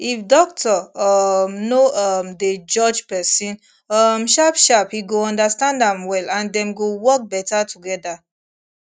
if doctor um no um dey judge person um sharpsharp he go understand am well and dem go work better together